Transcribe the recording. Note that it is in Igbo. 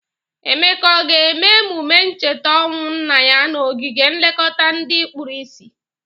Emeka ọ ga-eme emụme ncheta ọnwụ nna ya n'ogige nlekọta ndị kpuru isi?